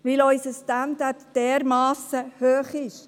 – Weil unser Standard dermassen hoch ist.